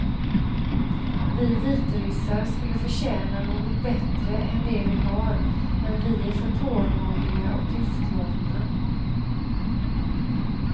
Vi vitryssar skulle förtjäna något bättre än det vi har men vi är för tålmodiga och tystlåtna.